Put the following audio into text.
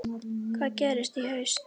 Hvað gerist í haust?